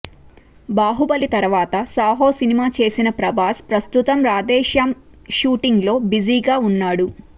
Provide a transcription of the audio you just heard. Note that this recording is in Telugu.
బాహుబలి తరువాత సాహో సినిమా చేసిన ప్రభాస్ ప్రస్తుతం రాధే శ్యామ్ షూటింగ్లో బిజీగా ఉన్నాడు